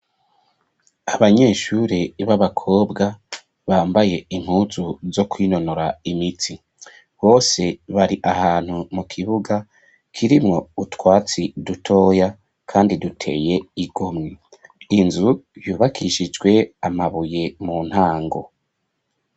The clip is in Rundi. Abanyeshuri b'abakobwa bambaye impuzu zo kwinonora imitsi, bose bari ahantu mu kibuga kirimwo utwatsi dutoya ,kandi duteye igomwe, inzu yubakishijwe amabuye mu ntango.